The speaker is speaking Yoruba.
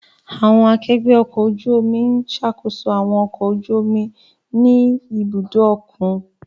Àwọn akẹgbẹ ọkọ̀ ojú omi n ṣakoso awọn ọkọ̀ ojú omi ni ibudo okun